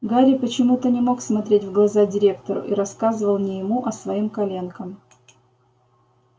гарри почему-то не мог смотреть в глаза директору и рассказывал не ему а своим коленкам